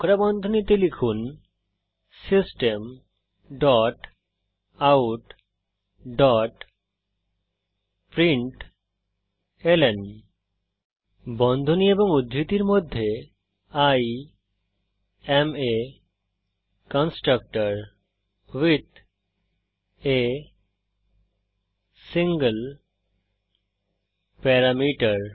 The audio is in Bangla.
কোঁকড়া বন্ধনীতে লিখুন system dot out dot println বন্ধনী এবং উদ্ধৃতির মধ্যে I am a constructor with a single parameter